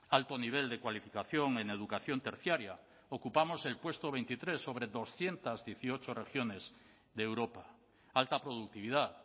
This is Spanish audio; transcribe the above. alto nivel de cualificación en educación terciaria ocupamos el puesto veintitrés sobre doscientos dieciocho regiones de europa alta productividad